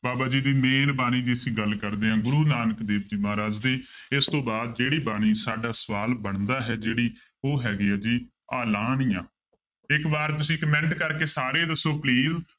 ਬਾਬਾ ਜੀ ਦੀ ਮਿਹਰਬਾਣੀ ਦੀ ਅਸੀਂ ਗੱਲ ਕਰਦੇ ਹਾਂ ਗੁਰੂੂ ਨਾਨਕ ਦੇਵ ਜੀ ਮਹਾਰਾਜ ਦੇ ਇਸ ਤੋਂ ਬਾਅਦ ਜਿਹੜੀ ਬਾਣੀ ਸਾਡਾ ਸਵਾਲ ਬਣਦਾ ਹੈ ਜਿਹੜੀ ਉਹ ਹੈਗੀ ਹੈ ਜੀ ਆਲਾਣੀਆ, ਇੱਕ ਵਾਰ ਤੁਸੀਂ comment ਕਰਕੇ ਸਾਰੇ ਦੱਸੋ please